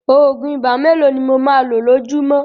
Òògùn ibà mélòó ni mo máa lo lójúmọ́